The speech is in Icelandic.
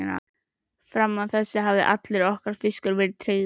Fram að þessu hafði allur okkar fiskur verið tryggður.